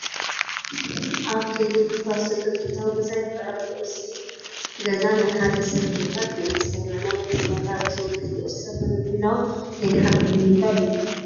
ኣብ ከይዲ ምፍራስ ዘሎ ጥንታዊ ገዛ ይርአ ኣሎ፡፡ እዚ ገዛ ናይ ሓደ ሰብ ገዛ ከይመስለና ናይ ኩልና ታሪክ ዝውክል እዩ፡፡ ቅርስታትና ንምሕላዉ ዘይንሓብር ንምንታይ እዩ?